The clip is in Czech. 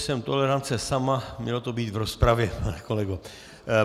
Jsem tolerance sama, mělo to být v rozpravě, pane kolego.